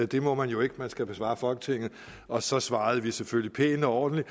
det må man jo ikke man skal besvare folketinget og så svarede vi selvfølgelig pænt og ordentligt